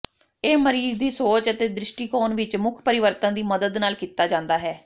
ਇਹ ਮਰੀਜ਼ ਦੀ ਸੋਚ ਅਤੇ ਦ੍ਰਿਸ਼ਟੀਕੋਣ ਵਿਚ ਮੁੱਖ ਪਰਿਵਰਤਨ ਦੀ ਮਦਦ ਨਾਲ ਕੀਤਾ ਜਾਂਦਾ ਹੈ